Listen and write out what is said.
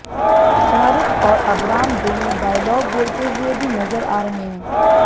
शाहरुख और अबराम दोनों डायलॉग बोलते हुए भी नज़र आ रहे हैं